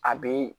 A be